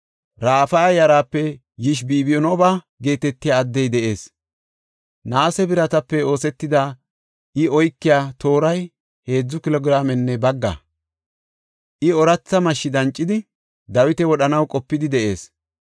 Rafaya yaraape Yishibibinooba geetetiya addey de7ees. Naase biratape oosetida, I oykiya tooray heedzu kilo giraamenne bagga; I ooratha mashshi dancidi, Dawita wodhanaw qopidi de7ees.